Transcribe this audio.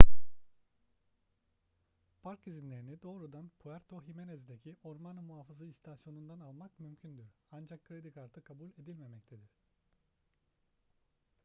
park izinlerini doğrudan puerto jiménez'deki orman muhafızı i̇stasyonu'ndan almak mümkündür ancak kredi kartı kabul edilmemektedir